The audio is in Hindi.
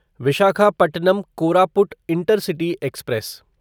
Visakhapatnam Koraput intercity express